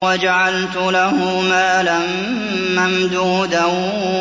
وَجَعَلْتُ لَهُ مَالًا مَّمْدُودًا